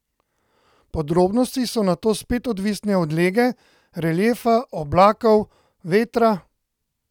Podrobnosti so nato spet odvisne od lege, reliefa, oblakov, vetra...